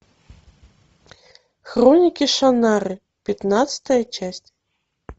хроники шаннары пятнадцатая часть